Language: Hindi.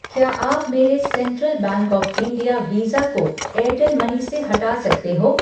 क्या आप मेरे central bank of India visa को एयरटेल मनी से हटा सकते हो?